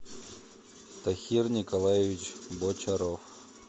тахир николаевич бочаров